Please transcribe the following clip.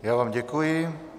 Já vám děkuji.